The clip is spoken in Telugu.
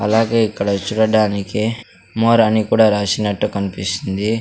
అలాగే ఇక్కడ చూడడానికి మోర్ అని కూడా రాసినట్టు కనిపిస్తుంది.